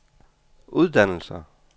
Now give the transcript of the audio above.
uddannelser